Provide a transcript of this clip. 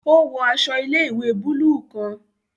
O wọ aṣọ ilé-ìwé buluu kàn.